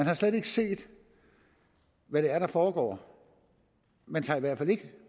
har slet ikke set hvad det er der foregår man tager i hvert fald ikke